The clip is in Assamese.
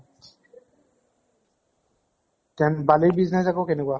then বালিৰ business আকৌ কেনেকুৱা?